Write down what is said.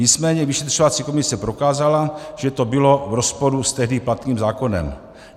Nicméně vyšetřovací komise prokázala, že to bylo v rozporu s tehdy platným zákonem.